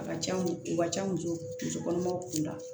A ka ca u ka ca muso muso kɔnɔmaw kun la